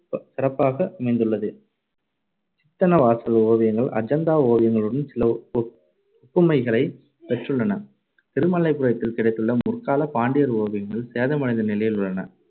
சிறப்பாக அமைந்துள்ளது. சித்தன்னவாசல் ஓவியங்கள் அஜந்தா ஓவியங்களுடன் சில ஒப்~ ஒப்~ ஒப்புமைகளைப் பெற்றுள்ளன. திருமலைபுரத்தில் கிடைத்துள்ள முற்காலப் பாண்டியர் ஓவியங்கள் சேதமடைந்த நிலையிலுள்ளன.